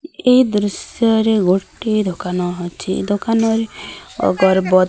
ଏହି ଦୃଶ୍ୟ ରେଗୋଟିଏ ଦୋକାନ ଅଛି ଦୋକାନରେ ଅଗର୍ଭ --